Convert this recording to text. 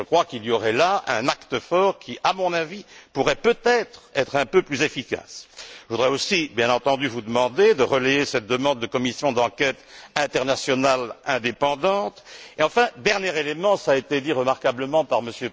Je crois qu'il y aurait là un acte fort qui, à mon avis, pourrait, peut être, être un peu plus efficace. Je voudrais aussi, bien entendu, vous demander de relayer cette demande de commission d'enquête internationale indépendante et, enfin, dernier élément cela a été dit remarquablement par M.